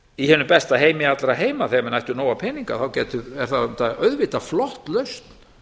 í hinum besta heima allra heima þegar menn ættu nóga peninga þá er það auðvitað flott lausn